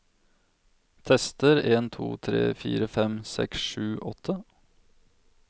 Tester en to tre fire fem seks sju åtte